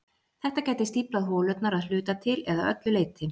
Þetta gæti stíflað holurnar að hluta til eða öllu leyti.